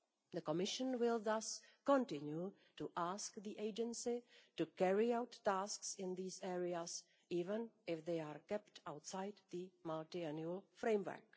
The Commission will thus continue to ask the Agency to carry out tasks in these areas, even if they are kept outside the Multiannual Framework.